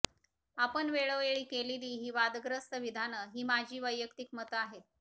आपण वेळेवेळी केलेली ही वादग्रस्त विधानं ही माझी वैयक्तिक मतं आहेत